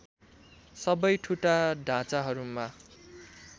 सबै ठुटा ढाँचाहरूमा